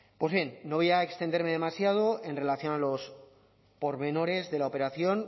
pues bien no voy a extenderme demasiado en relación a los pormenores de la operación